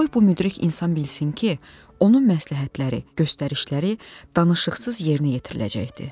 Qoy bu müdrik insan bilsin ki, onun məsləhətləri, göstərişləri danışıqsız yerinə yetiriləcəkdi.